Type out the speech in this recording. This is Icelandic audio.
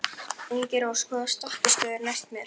Ingirós, hvaða stoppistöð er næst mér?